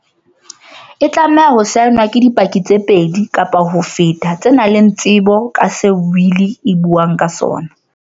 E tlameha ho saenwa ke di paki tse pedi kapa ho feta tse nang le tsebo ka se wili e buang ka sona.